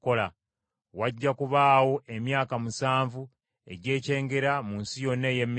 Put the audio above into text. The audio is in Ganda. Wajja kubaawo emyaka musanvu egy’ekyengera mu nsi yonna ey’e Misiri,